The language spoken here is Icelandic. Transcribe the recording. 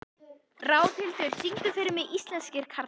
Ráðhildur, syngdu fyrir mig „Íslenskir karlmenn“.